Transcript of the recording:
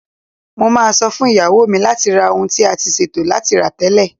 Mo máa sọ fún ìyàwó mi láti ra ohun tí a ti ṣètò láti rà tẹ́lẹ̀.